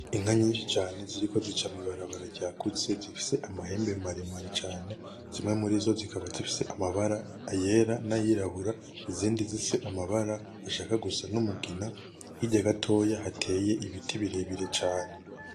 Inka nyinshi cane ziriko zica mw'ibarabara ryagutse, zifise amahembe maremare cane, zimwe muri zo zikaba zifise amabara; ayera; n'ayirabura; izindi zifise amabara ashaka gusa n'umugina, hirya gatoya hateye ibiti birebire cane.